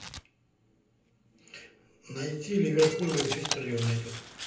найти ливерпуль манчестер юнайтед